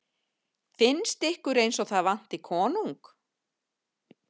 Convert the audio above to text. Finnst ykkur eins og það vanti konung?